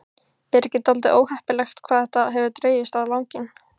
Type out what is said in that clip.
Er ekki dálítið óheppilegt hvað þetta hefur dregist á langinn?